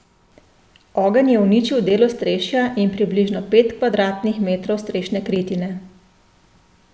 Ogenj je uničil del ostrešja in približno pet kvadratnih metrov strešne kritine.